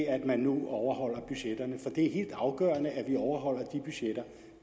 at man nu overholder budgetterne for det er helt afgørende at vi overholder de budgetter